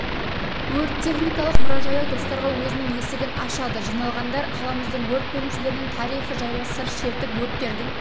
өрт техникалық мұражайы достарға өзінің есігін ашады жиналғандар қаламыздың өрт бөлімшелерінің тарихы жайлы сыр шертіп өрттердің